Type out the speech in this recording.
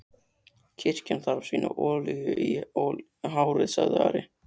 Kirkjan þarf sína olíu í hárið, sagði Ari.